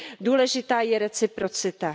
Důležitá je reciprocita.